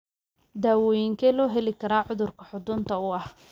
Daawooyinkee loo heli karaa cudurka xudunta u ah?